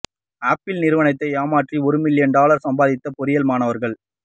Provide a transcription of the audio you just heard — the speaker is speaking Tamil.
ஆப்பிள் நிறுவனத்தை ஏமாற்றி ஒரு மில்லியன் டாலர் சம்பாதித்த பொறியியல் மாணவர்கள்